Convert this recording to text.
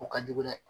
O ka jugu dɛ